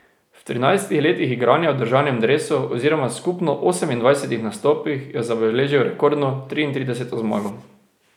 V trinajstih letih igranja v državnem dresu oziroma skupno osemindvajsetih nastopih je zabeležil rekordno triintrideseto zmago.